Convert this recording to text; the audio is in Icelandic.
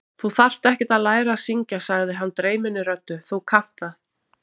Þú þarft ekkert að læra að syngja, sagði hann dreyminni röddu: Þú kannt það.